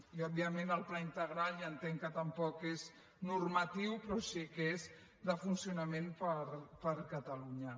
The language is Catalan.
i òbviament el pla integral ja entenc que tampoc és normatiu però sí que és de funcionament per catalunya